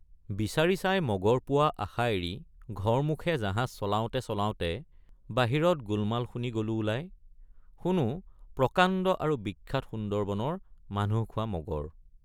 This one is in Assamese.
বিচাৰি চাই মগৰ পোৱাৰ আশা এৰি ঘৰমুখে জাহাজ চলাওঁতে চলাওঁতে বাহিৰত গোলমাল শুনি গলোঁ ওলাই শুনো প্ৰকাণ্ড আৰু বিখ্যাত সুন্দৰবনৰ মানুহ খোৱা মগৰ।